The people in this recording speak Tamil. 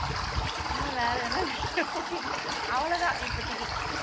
இன்னும் வேற என்ன விஷயம் அவ்ளோதான் இப்போதைக்கு